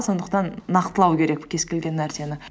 сондықтан нақтылау керек кез келген нәрсені